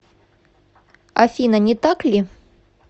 афина не так ли